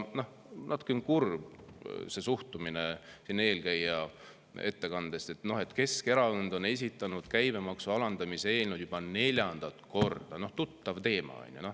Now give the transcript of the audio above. Natukene kurb oli see suhtumine eelkäija ettekandes, et Keskerakond on esitanud käibemaksu alandamise eelnõu juba neljandat korda, tuttav teema, on ju.